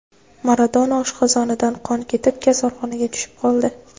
Maradona oshqozonidan qon ketib, kasalxonaga tushib qoldi.